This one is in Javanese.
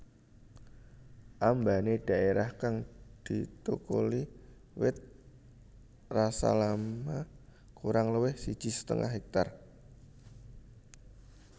Ambané dhaérah kang dithukuli wit rasalama kurang luwih siji setengah hektar